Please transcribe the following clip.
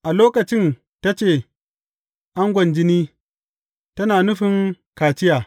A lokacin ta ce angon jini, tana nufin kaciya.